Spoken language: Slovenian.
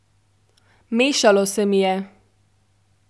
Mešalo se mi je.